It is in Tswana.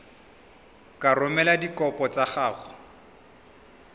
ka romela dikopo tsa gago